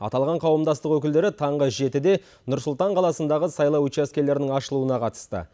аталған қауымдастық өкілдері таңғы жетіде нұр сұлтан қаласындағы сайлау учаскелерінің ашылуына қатысты